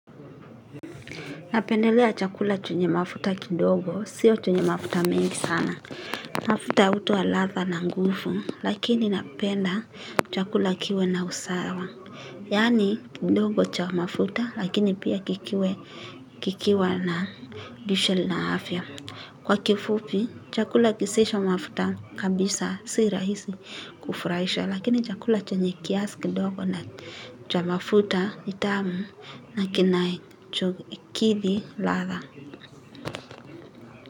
Napendelea chakula chenye mafuta kidogo, sio chenye mafuta mengi sana. Mafuta hutoa ladha na nguvu, lakini napenda chakula kiwe na usawa. Yaani, kidogo cha mafuta lakini pia kikiwe, kikiwa na lishe na afya. Kwa kifupi, chakula kisicho mafuta kabisa, si rahisi kufurahisha. Lakini chakula chenye kiasi kidogo na cha mafuta nitamu na kinai chokidhi ladha.